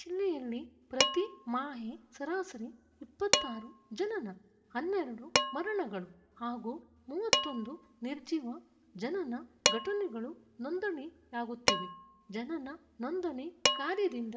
ಜಿಲ್ಲೆಯಲ್ಲಿ ಪ್ರತಿ ಮಾಹೆ ಸರಾಸರಿ ಇಪ್ಪತ್ತ್ ಆರು ಜನನ ಹನ್ನೆರಡು ಮರಣಗಳು ಹಾಗೂ ಮೂವತ್ತ್ ಒಂದು ನಿರ್ಜಿವ ಜನನ ಘಟನೆಗಳು ನೋಂದಣಿಯಾಗುತ್ತಿವೆ ಜನನ ನೋಂದಣಿ ಕಾರ್ಯದಿಂದ